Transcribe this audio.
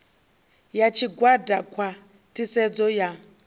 ya tshigwada khwa ṱhisedzo ya